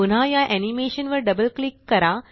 पुन्हा या एनीमेशन वर डबल क्लिक करा